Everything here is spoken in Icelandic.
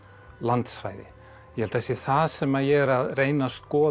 landsvæði ég held að það sé það sem ég er að reyna að skoða